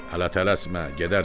Hələ tələsmə, gedərsən.